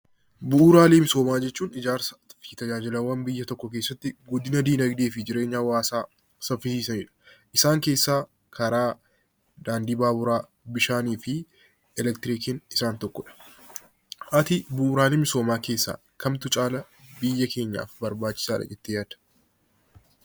Bu'uuraalee misoomaa jechuun ijaarsaa fi tajaajilaawwan biyya tokkoo keessatti guddina dinaagdee hawaasaa saffisanidha. Isaan keessaa karaa daandii baaburaa, bishaanii fi eleektirikiin isaan tokkodha. Ati isaan kana keessaa kamtu caalaatti biyya keenyaaf barbaachisaadha jettee yaadda?